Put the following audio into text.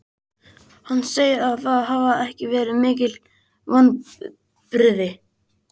Hann segir það ekki hafa verið mikil vonbrigði.